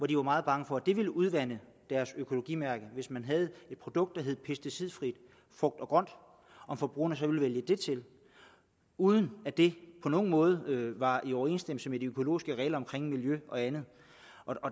de var meget bange for at det ville udvande deres økologimærke hvis man havde et produkt der hed pesticidfrit frugt og grønt og forbrugerne så ville vælge det til uden at det på nogen måde var i overensstemmelse med de økologiske regler for miljø og andet